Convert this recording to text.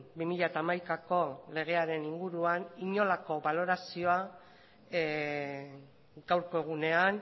bi mila hamaikako legearen inguruan inolako balorazioa gaurko egunean